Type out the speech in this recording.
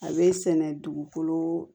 A bɛ sɛnɛ dugukolo